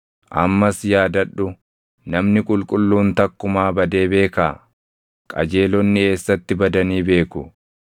“Ammas yaadadhu; namni qulqulluun takkumaa badee beekaa? Qajeelonni eessatti badanii beeku?